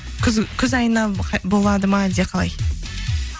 күз айына болады ма әлде қалай